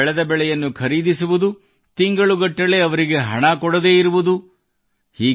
ರೈತರಿಂದ ಬೆಳೆದ ಬೆಳೆಯನ್ನು ಖರೀದಿಸುವುದು ತಿಂಗಳುಗಟ್ಟಲೇ ಅವರಿಗೆ ಹಣ ಕೊಡದೇ ಇರುವುದು